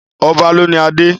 Ọba lóni adé.